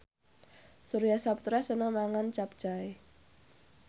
Surya Saputra seneng mangan capcay